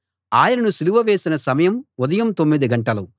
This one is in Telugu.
ఆయనను సిలువ వేసిన సమయం ఉదయం తొమ్మిది గంటలు